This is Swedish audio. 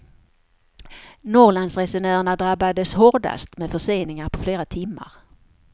Norrlandsresenärerna drabbades hårdats med förseningar på flera timmar.